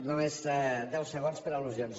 no només deu segons per al·lusions